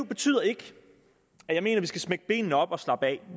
betyder ikke at jeg mener vi skal smække benene op og slappe af